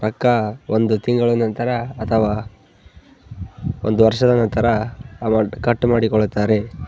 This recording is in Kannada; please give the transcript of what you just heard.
ರೊಕ್ಕ ಒಂದು ತಿಂಗಳ ನಂತರ ಅಥವಾ ಒಂದು ವರ್ಷದ ನಂತರ ಅಮೌಂಟ್ ಕಟ್ ಮಾಡಿ ಕೊಳ್ತಾರೆ.